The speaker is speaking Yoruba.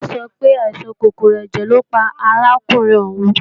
Tọ́lá sọ pé, àìsàn kòkòrò ẹ̀jẹ̀ lọ́ pa arákùnrin òun